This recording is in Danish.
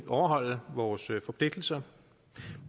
overholde vores forpligtelser